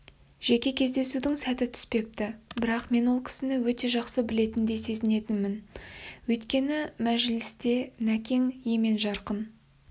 жеке кездесудің сәті түспепті бірақ мен ол кісіні өте жақсы білетіндей сезінетінмін өйткені мәжілісте нәкең емен-жарқын